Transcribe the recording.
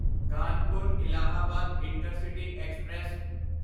Kanpur Allahabad intercity express